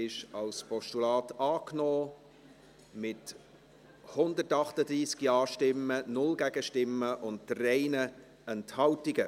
Auch dieser Punkt wird als Postulat angenommen, mit 138 Ja- gegen 0 Nein-Stimmen bei 3 Enthaltungen.